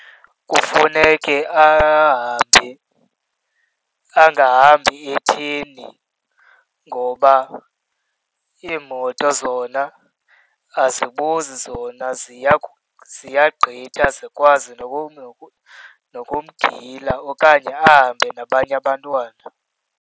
Kufuneke ahambe angahambi etheni ngoba iimoto zona azibuzi, zona ziyagqitha zikwazi nokumgila okanye ahambe nabanye abantwana.